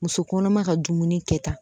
Muso kɔnɔma ka dumuni kɛta